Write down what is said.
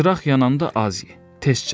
Çıraq yananda az ye, tez çəkil.